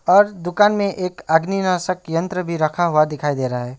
और दुकान में एक अग्नि नाशक यंत्र भी रखा हुआ दिखाई दे रहा है।